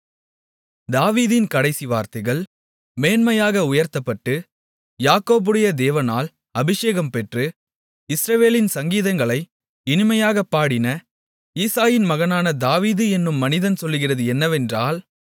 தாவீதின் கடைசி வார்த்தைகள் மேன்மையாக உயர்த்தப்பட்டு யாக்கோபுடைய தேவனால் அபிஷேகம் பெற்று இஸ்ரவேலின் சங்கீதங்களை இனிமையாகப் பாடின ஈசாயின் மகனான தாவீது என்னும் மனிதன் சொல்லுகிறது என்னவென்றால்